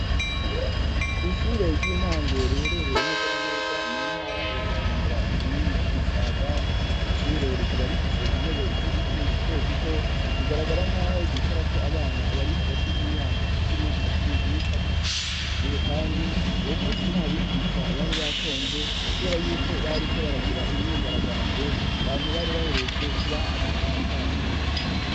Kw' ishure ry'intango riherereye neza neza mu ntara ya bujumbura komine musaga ryi shure rikaba rifise intebe z'ibiti zito zito bigaragara nk'aho zishura ko abana bari hagati y'imyaka cumi na cumi n'itatu yushure kandi uwo munsi ntabigisha bari batonze kubera y'uko bari ko baragira imyigaragambyo banti bari baherutse kubaha agashahara kabo.